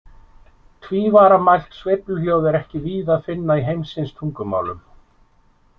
Tvívaramælt sveifluhljóð er ekki víða að finna í heimsins tungumálum.